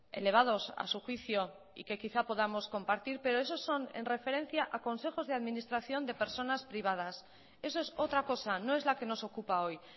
elevados a su juicio y que quizá podamos compartir pero esos son en referencia a consejos de administración de personas privadas eso es otra cosa no es la que nos ocupa hoy